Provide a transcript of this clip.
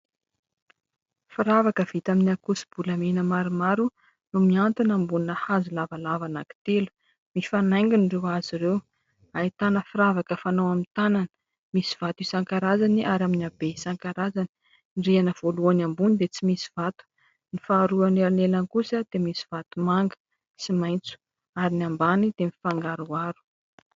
Firavaka vita amin'ny ankoso-bolamena maromaro no mihantona ambonina hazo lavalava anakitelo, mifanaingina ireo hazo ireo, ahitàna firavaka fanao amin'ny tanana, misy vato isan-karazany ary amin'ny habe isan-karazany, ny rihana voalohany ambony dia tsy misy vato, ny faharoa eo anelanelany kosa dia misy vato manga sy maitso ary ny ambany dia mifangaroaro.